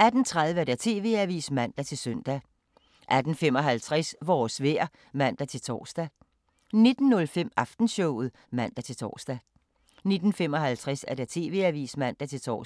18:30: TV-avisen (man-søn) 18:55: Vores vejr (man-tor) 19:05: Aftenshowet (man-tor) 19:55: TV-avisen (man-tor)